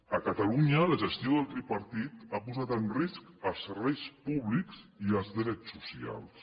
a catalunya la gestió del tripartit ha posat en risc els serveis públics i els drets socials